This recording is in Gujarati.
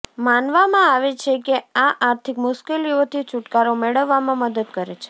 માનવામાં આવે છે કે આ આર્થિક મુશ્કેલીઓથી છુટકારો મેળવવામાં મદદ કરે છે